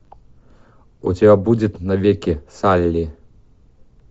у тебя будет навеки салли